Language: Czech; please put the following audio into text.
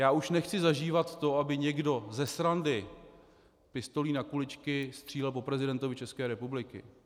Já už nechci zažívat to, aby někdo ze srandy pistolí na kuličky střílel po prezidentovi České republiky.